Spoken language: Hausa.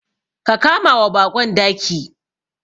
Ka kamawa baƙon daki.